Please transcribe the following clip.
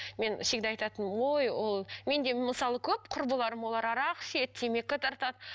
мен всегда айтатынмын ой ол менде мысалы көп құрбыларым олар арақ ішеді темекі тартады